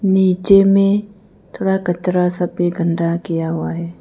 नीचे में थोड़ा कचरा सा भी गंदा किया हुआ है।